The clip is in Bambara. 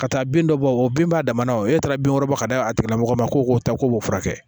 Ka taa bin dɔ bɔ o bin b'a damana wo e taara binkɔrɔba bɔ ka d'a tigilamɔgɔ ma ko k'o ta k'o furakɛ